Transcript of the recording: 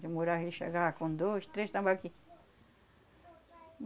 Demorava, ele chegava com dois, três tambaqui.